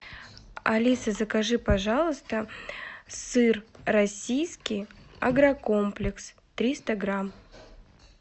алиса закажи пожалуйста сыр российский агрокомплекс триста грамм